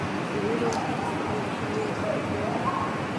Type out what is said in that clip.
Shinnidu waxay isticmaashaa luqadda khuurada.